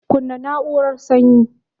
Kunna na'urar sanyin.